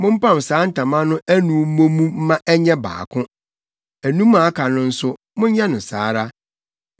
Mompam saa ntama no anum mmɔ mu mma ɛnyɛ baako. Anum a aka no nso, monyɛ no saa ara.